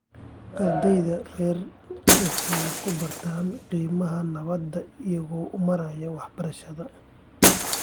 Ardeyda rer waxay ku bartaan qiimaha nabadda iyagoo u maraa waxbarashada.